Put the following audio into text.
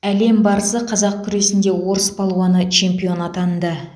әлем барысы қазақ күресінде орыс палуаны чемпион атанды